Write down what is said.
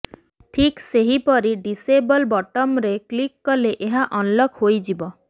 ଠିକ୍ ସେହିପରି ଡିସେବଲ ବଟମରେ କ୍ଳିକ କଲେ ଏହା ଅନଲକ ହୋଇଯିବ